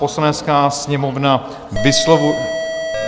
Poslanecká sněmovna vyslovuje...